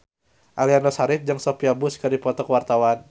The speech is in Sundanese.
Aliando Syarif jeung Sophia Bush keur dipoto ku wartawan